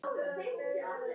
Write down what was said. Þín frænka, Selma.